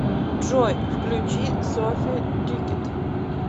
джой включи софи тикет